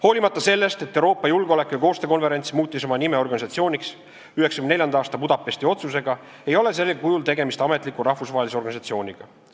Hoolimata sellest, et Euroopa Julgeoleku- ja Koostöökonverents muutis oma nime Organisatsiooniks 1994. aasta Budapesti otsusega , ei ole sellel kujul tegemist ametliku rahvusvahelise organisatsiooniga.